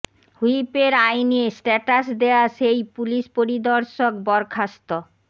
হুইপের আয় নিয়ে স্ট্যাটাস দেয়া সেই পুলিশ পরিদর্শক বরখাস্ত